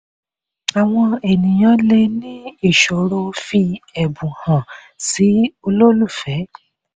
àwọn ènìyàn le ní ìṣòro fí ẹ̀bùn hàn sí olólùfẹ́.